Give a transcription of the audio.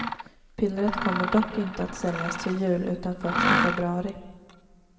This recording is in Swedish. Pillret kommer dock inte att säljas till jul, utan först i februari.